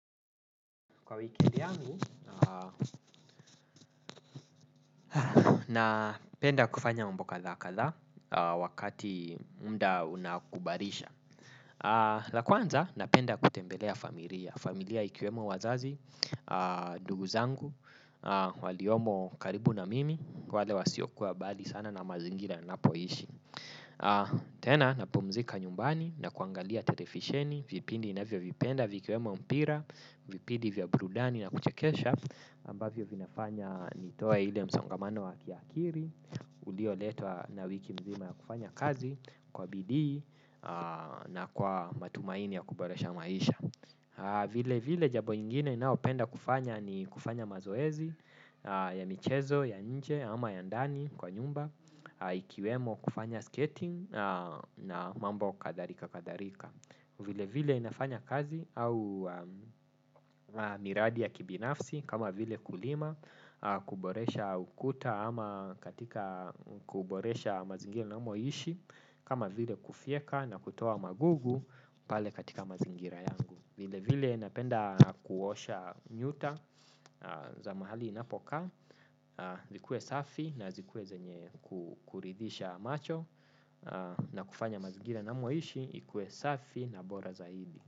Kwa wikendi yangu, napenda kufanya mambo kadhaa kadhaa, wakati muda unakubalisha. La kwanza, napenda kutembelea familia. Familia ikiwemo wazazi, ndugu zangu, waliomo karibu na mimi, wale wasiokuwa mbali sana na mazingira ninapoishi. Tena, napumzika nyumbani, na kuangalia televisheni, vipindi ninavyovipenda, vikiwemo mpira, vipindi vya burudani na kuchekesha ambavyo vinafanya nitoe ile msongamano wa kiakili ulioletwa na wiki mzima ya kufanya kazi kwa bidii na kwa matumaini ya kuboresha maisha. Vile vile jambo ingine ninaopenda kufanya ni kufanya mazoezi ya michezo ya nje ama ya ndani kwa nyumba. Ikiwemo kufanya skating na mambo kadhalika kadhalika. Vile vile ninafanya kazi au miradi ya kibinafsi kama vile kulima, kuboresha ukuta ama katika kuboresha mazingira ninamoishi kama vile kufyeka na kutoa magugu pale katika mazingira yangu. Vile vile napenda kuosha nyuta za mahali ninapokaa, zikue safi na zikue zenye kuridhisha macho. Na kufanya mazingira ninamoishi ikue safi na bora zaidi.